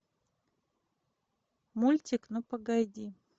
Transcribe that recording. мультик ну погоди